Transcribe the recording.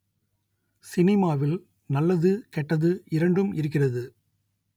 சினிமாவில் நல்லது கெட்டது இரண்டும் இருக்கிறது